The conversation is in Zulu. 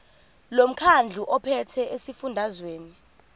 lomkhandlu ophethe esifundazweni